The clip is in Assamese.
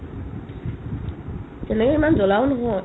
তেনেকে ইমান জ্বলাও নহয়